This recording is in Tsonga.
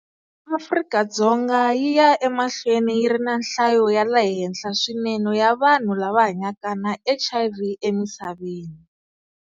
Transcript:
Afrika-Dzonga yi ya emahlweni yi ri na nhlayo ya le henhla swinene ya vanhu lava hanyaka na HIV emisaveni.